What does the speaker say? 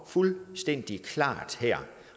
fuldstændig klare